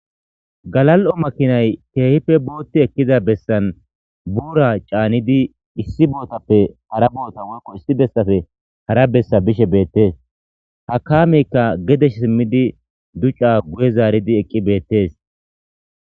Halal'o makinay keehippe bootti ekkiza bessan buura caanidi issi bootappe hara boota woykko issi bessafe hara bessa bishe beettees hakameykka gedesh simmidi duca guye zaaridi eqqi beettees.